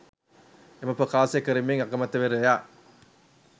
එම ප්‍රකාශය කරමින් අගමැතිවරයා